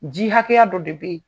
Ji haKɛya dɔ de be yen